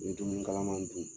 Ni dumuni kalaman dun.